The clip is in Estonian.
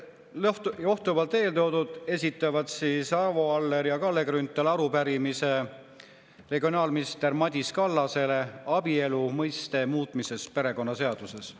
Johtuvalt eeltoodust esitavad Arvo Aller ja Kalle Grünthal regionaalminister Madis Kallasele arupärimise abielu mõiste muutmise kohta perekonnaseaduses.